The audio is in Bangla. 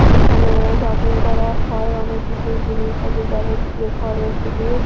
এইখানে শপিং করা হয় অনেক কিছুই জিনিস আছে যাবতীয় ঘরের জিনিস ।